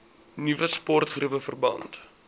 nuwe sportgeriewe verband